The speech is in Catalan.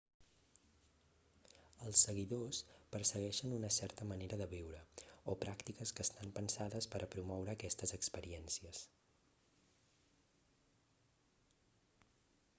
els seguidors persegueixen una certa manera de viure o pràctiques que estan pensades per a promoure aquestes experiències